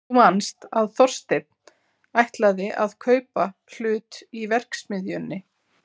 Þú manst að Þorsteinn ætlaði að kaupa hlut í verksmiðjunni.